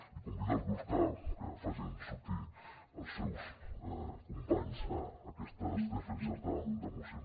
i convido els grups a que facin sortir els seus companys en aquestes defenses de mocions